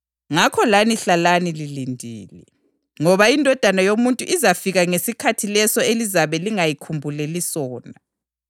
Ngakho lani hlalani lilindile, ngoba iNdodana yoMuntu izafika ngesikhathi leso elizabe lingayikhumbuleli sona.